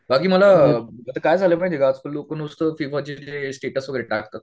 बाकी मला आता काय झालं माहिती का आजकाल लोकं स्टेट्स वगैरे टाकतात.